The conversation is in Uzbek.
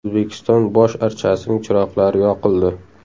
O‘zbekiston bosh archasining chiroqlari yoqildi.